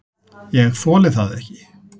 ÉG ÞOLI ÞAÐ EKKI!